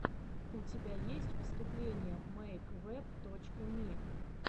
у тебя есть выступление мэйквэб точка ми